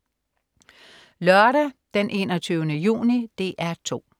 Lørdag den 21. juni - DR 2: